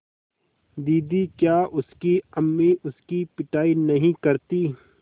दीदी क्या उसकी अम्मी उसकी पिटाई नहीं करतीं